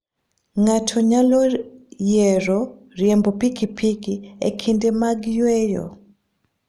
Ng'ato nyalo yiero riembo pikipiki e kinde mag yueyo.